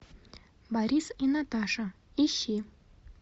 борис и наташа ищи